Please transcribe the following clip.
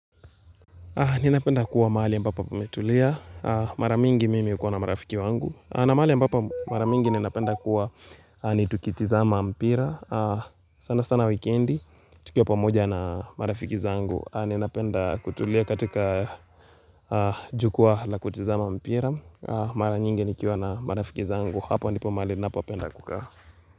Ninapenda kuwa mahali ya ambapo pametulia. Maramingi mimi yukua na marafiki wangu. Na mahali ya ambapo mara mingi ninapenda kuwa ni tukitizama mpira. Sana sana weekendi, tukia pamoja na marafiki zangu. Ninapenda kutulia katika jukwa la kutizama mpira. Maramingi nikiwa na marafiki zangu. Hapo nipo maali napo penda kukaa.